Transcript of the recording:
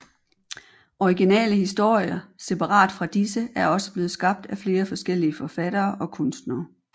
Originale historier separat fra disse er også blevet skabt af flere forskellige forfattere og kunstnere